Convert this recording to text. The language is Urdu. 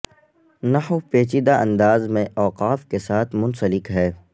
نحو پیچیدہ انداز میں اوقاف کے ساتھ منسلک ہے